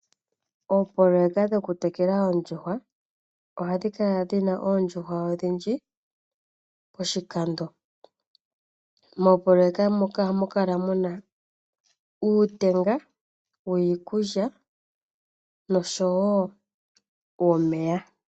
Oopololeka dho ku tekula oondjuhwa ohadhi kala dhina oondjuhwa odhindji poshikando. Moopololeka muka ohamu kala muna uutenga wiikulya noshowo womeya.